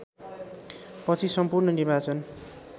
पछि सम्पूर्ण निर्वाचन